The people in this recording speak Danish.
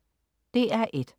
DR1: